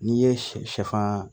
N'i ye sɛ sɛfan